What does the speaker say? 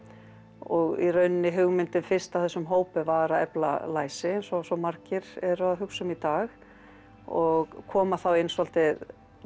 og í rauninni hugmyndin fyrst að þessum hópi var að efla læsi eins og svo margir eru að hugsa um í dag og koma inn svolítið